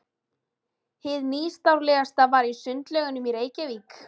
Hið nýstárlegasta var í Sundlaugunum í Reykjavík.